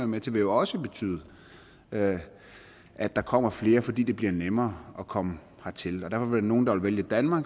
med til vil jo også betyde at at der kommer flere fordi det bliver nemmere at komme hertil og der vil være nogle der vil vælge danmark